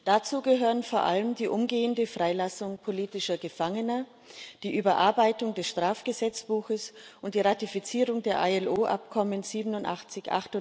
Dazu gehören vor allem die umgehende Freilassung politischer Gefangener, die Überarbeitung des Strafgesetzbuches und die Ratifizierung der IAO Abkommen 87,